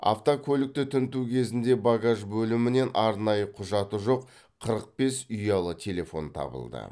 автокөлікті тінту кезінде багаж бөлімінен арнайы құжаты жоқ қырық бес ұялы телефон табылды